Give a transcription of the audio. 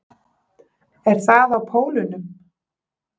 Er það á pólunum?